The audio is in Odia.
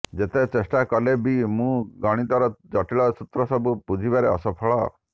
ଯେତେ ଚେଷ୍ଟା କଲେ ବି ମୁଁ ଗଣିତର ଜଟିଳ ସୂତ୍ର ସବୁ ବୁଝିବାରେ ଅସଫଳ